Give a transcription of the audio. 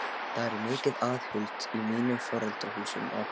Það var mikið aðhald í mínum foreldrahúsum og